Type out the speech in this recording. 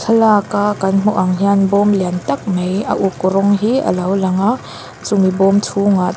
thlalaka kan hmuh ang hian bawm lian tak mai a uk rawng hi alo lang a chumi bawm chhungah--